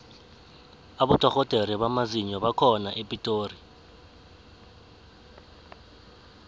abodorhodere bamazinyo bakhona epitori